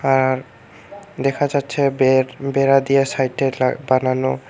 আর দেখা যাচ্ছে বেড় বেড়া দিয়ে সাইডে লা বানানো।